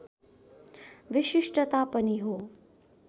विशिष्टता पनि हो